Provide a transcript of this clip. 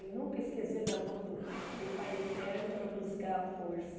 E nunca esquecer da mão do do Pai Eterno para buscar a força.